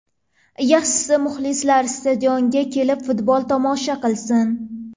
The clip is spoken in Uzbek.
Yaxshisi, muxlislar stadionga kelib futbol tomosha qilsin.